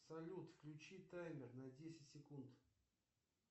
салют включи таймер на десять секунд